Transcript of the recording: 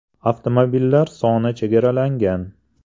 Avtomobillar soni chegaralangan.